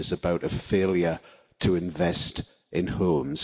it is about a failure to invest in homes.